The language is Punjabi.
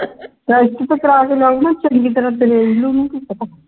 test ਤੁਸਟ ਕਰਵਾ ਕੇ ਲਿਆ ਇਨਾਂ ਚੰਗੀ ਤਰ੍ਹਾਂ ਨਾਲ ਨੂੰ ਕੀ ਪਤਾ